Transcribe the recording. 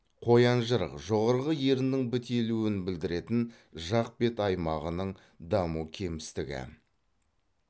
қоянжырық жоғарғы еріннің бітелуін білдіретін жақ бет аймағының даму кемістігі